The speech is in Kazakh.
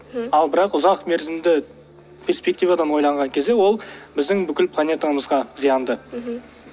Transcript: ал бірақ ұзақ мерзімді перспективадан ойланған кезде ол біздің бүкіл планетамызға зиянды мхм